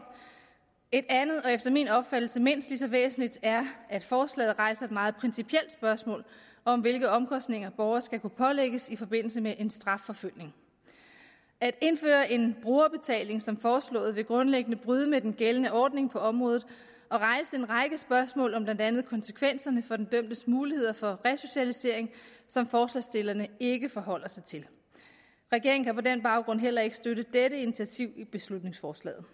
et andet og efter min opfattelse mindst lige så væsentligt er at forslaget rejser et meget principielt spørgsmål om hvilke omkostninger borgere skal kunne pålægges i forbindelse med en strafforfølgning at indføre en brugerbetaling som foreslået vil grundlæggende bryde med den gældende ordning på området og rejse en række spørgsmål om blandt andet konsekvenserne for den dømtes muligheder for resocialisering som forslagsstillerne ikke forholder sig til regeringen kan på den baggrund heller ikke støtte dette initiativ i beslutningsforslaget